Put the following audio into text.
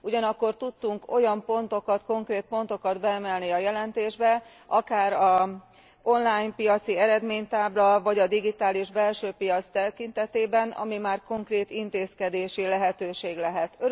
Ugyanakkor tudtunk olyan konkrét pontokat beemelni a jelentésbe, akár az online piaci eredménytábla vagy a digitális belsőpiac tekintetében, amely már konkrét intézkedési lehetőség lehet.